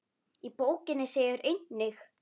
Í bókinni segir einnig